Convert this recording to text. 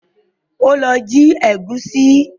Ó lọ jí ẹ̀gúsí